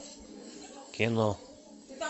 кино